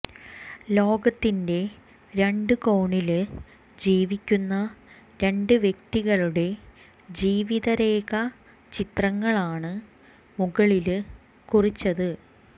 ലോകത്തിന്റെ രണ്ട് കോണില് ജീവിക്കുന്ന രണ്ട് വ്യക്തികളടെ ജീവിതരേഖ ചിത്രങ്ങളാണ് മുകളില് കുറിച്ചത്